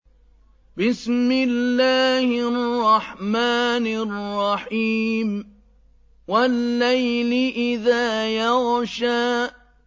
وَاللَّيْلِ إِذَا يَغْشَىٰ